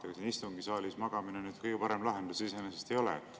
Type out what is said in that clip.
Ega siin istungisaalis magamine kõige parem lahendus iseenesest ei ole.